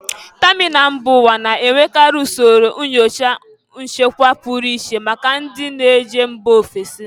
Tamịnal mba ụwa na-enwekarị usoro nyocha nchekwa pụrụ iche maka ndị njem mba ofesi